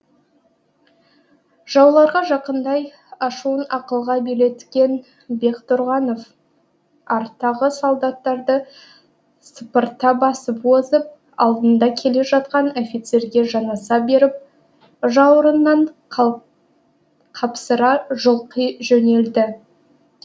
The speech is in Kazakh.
жауларға жақындай ашуын ақылға билеткен бектұрғанов арттағы солдаттарды сыпырта басып озып алдында келе жатқан офицерге жанаса беріп жауырыннан қапсыра жұлқи жөнелді